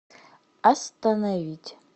остановить